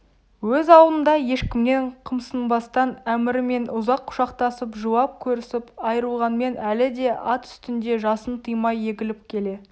өз ауылында ешкімнен қымсынбастан әмірмен ұзақ құшақтасып жылап көрісіп айырылғанмен әлі де ат үстінде жасын тыймай егіліп келе